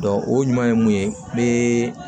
o ɲuman ye mun ye n bɛ